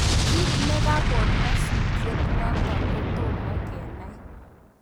Kiit nikakoon nyasutiet notok kotomo kenai